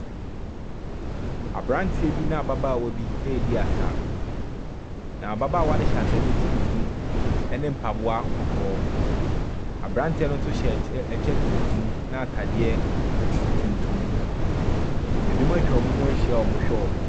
Aberanteɛ bi ne ababaawa bi redi asa, na ababaawa no hyɛ atadeɛ tuntum ne mpaboa kɔkɔɔ. Aberanteɛ no nso hyɛ ky kyɛ tuntum ne atadeɛ tuntum. Ebinom atwa wɔn ho ahyia a wɔrehwɛ wɔn.